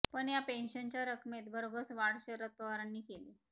पण या पेन्शनच्या रकमेत भरघोस वाढ शरद पवारांनी केली